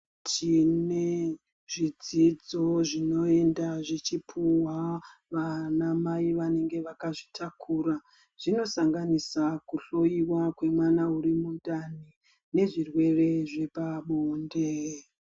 Tinezvidzidzo zvinoinda zvichipuwa anamai vakazvitakura zvinosanganisisa kuhloyiwa kwemwana ari mundani nezvirwere zvepabonde.